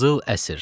Qızıl əsr.